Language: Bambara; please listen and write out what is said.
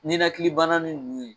Ninnakili bana ninnu ye